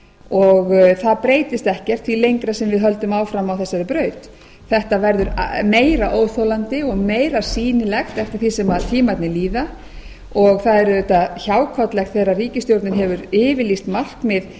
og það breytist ekkert því lengra sem við höldum áfram á þessari braut þetta verður meira óþolandi og meira sýnilegt eftir því sem tímarnir líða og það er auðvitað hjákátlegt þegar ríkisstjórnin hefur yfirlýst markmið